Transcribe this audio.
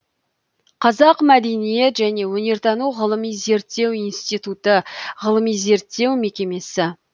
қазақ мәдениет және өнертану ғылыми зерттеу институты ғылыми зерттеу мекемесі